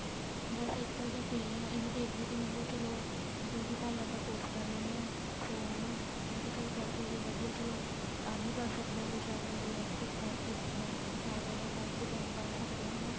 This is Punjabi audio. ਬੱਸ ਅੱਜਕਲ ਤਾਂ free ਹਾਂ ਇਹੀ ਦੇਖ ਰਹੀ ਸੀ ਮੈਂ ਕਿਆ ਚਲੋਂ beauty parlor ਦਾ course ਕਰ ਲੈਣੇ ਆ ਸੋ ਹੈਨਾ ਮੈਂ ਕਿਹਾ ਕਰਕੇ ਵੀ ਵਧੀਆ ਏ ਚਲੋਂ earn ਕਰ ਸਕਦੇ ਹਾਂ ਆਪਣੇ ਲਈ ਕੁੱਛ ਕਰਕੇ ਦਿਖਾ ਸਕਦੇ ਹਾਂ self depend ਬਣ ਸਕਦੇ ਹਾਂ ਹਨਾ